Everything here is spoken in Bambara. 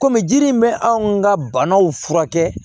Kɔmi jiri in bɛ anw ka banaw furakɛ